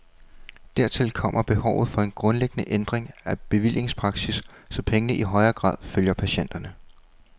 Dertil kommer behovet for en grundlæggende ændring af bevillingspraksis, så pengene i højere grad følger patienterne.